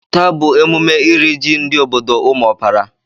Taa bụ emume iri ji ndị obodo Umuopara.